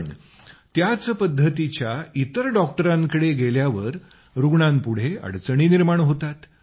पण त्याच पद्धतीच्या इतर डॉक्टरांकडे गेल्यावर रुग्णांपुढे अडचणी निर्माण होतात